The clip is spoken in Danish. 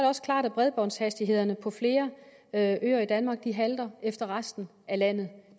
også klart at bredbåndshastighederne på flere af øerne i danmark halter efter resten af landet